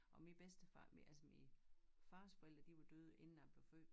Og min bedstefar altså min fars forældre de var døde inden jeg blev født